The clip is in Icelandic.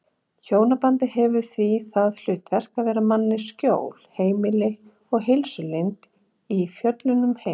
Hjónabandið hefur því það hlutverk að vera manninum skjól, heimili og heilsulind í föllnum heimi.